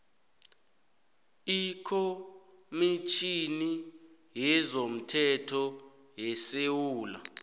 ikhomitjhini yezomthetho yesewula